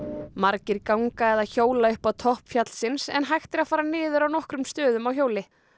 margir ganga eða hjóla upp á topp fjallsins en hægt er að fara niður á nokkrum stöðum á hjóli